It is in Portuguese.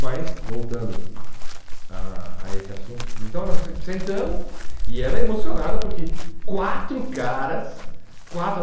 Mas voltando a a esse assunto, então nós sentamos e ela emocionada porque quatro caras, quatro